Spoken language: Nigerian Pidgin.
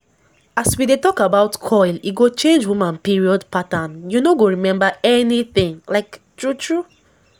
as we dey talk about coil e go change woman period patternu no go remember anything like true true